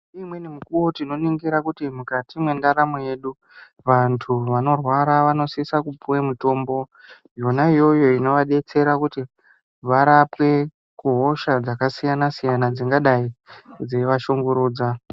Ngeimweni mikuwo tinoningira kuti mukati mwendaramo yedu vantu vanorwara vanosisa kupuwe mitombo yona iyoyo inovadetsera kuti varapwe kuhosha dzakasiyana-siyana dzingadai dzeivashungurudza.